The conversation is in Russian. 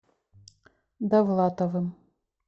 давлатовым